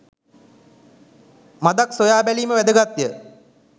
මඳක් සොයා බැලීම වැදගත් ය.